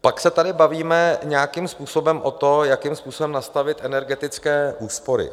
Pak se tady bavíme nějakým způsobem o tom, jakým způsobem nastavit energetické úspory.